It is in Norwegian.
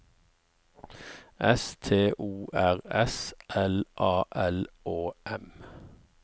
S T O R S L A L Å M